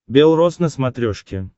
бел рос на смотрешке